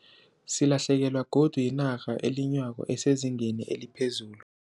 Silahlekelwa godu yinarha elinywako esezingeni eliphezulu